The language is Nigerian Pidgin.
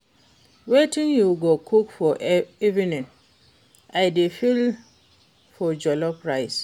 Wetin you go cook for evening? I dey feel for jollof rice.